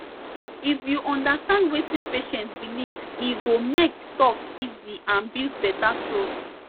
if you understand wetin patient believe e go make talk easy and build better trust